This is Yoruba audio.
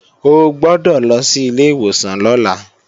O gbọ́dọ̀ lọ sí ilé ìwòsàn lọ́la!